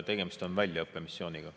Tegemist on väljaõppemissiooniga.